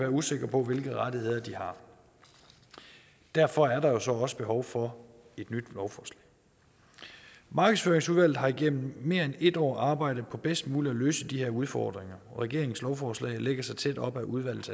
usikre på hvilke rettigheder de har derfor er der jo så også behov for et nyt lovforslag markedsføringsudvalget har igennem mere end et år arbejdet på bedst muligt at løse de her udfordringer og regeringens lovforslag lægger sig tæt op ad udvalgets